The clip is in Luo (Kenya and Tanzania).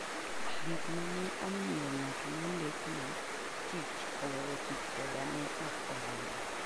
Gik ma ne omiyo ng'at mondikna tich oweyo tich koda ne ok oromo.